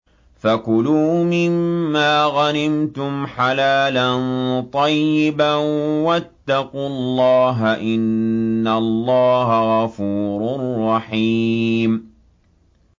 فَكُلُوا مِمَّا غَنِمْتُمْ حَلَالًا طَيِّبًا ۚ وَاتَّقُوا اللَّهَ ۚ إِنَّ اللَّهَ غَفُورٌ رَّحِيمٌ